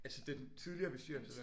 Altså den tidligere bestyrelse?